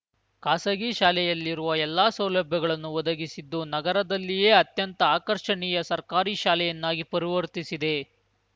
ಖಾಸಗಿ ಶಾಲೆಯಲ್ಲಿರುವ ಎಲ್ಲಾ ಸೌಲಭ್ಯಗಳನ್ನು ಒದಗಿಸಿದ್ದು ನಗರದಲ್ಲಿಯೇ ಅತ್ಯಂತ ಆಕರ್ಷಣೀಯ ಸರ್ಕಾರಿ ಶಾಲೆಯನ್ನಾಗಿ ಪರಿವರ್ತಿಸಿದೆ